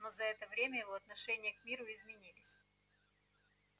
но за это время его отношение к миру изменилось